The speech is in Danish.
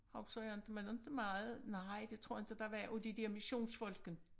Husker jeg inte men inte meget nej det tror jeg inte der var af de der missionsfolken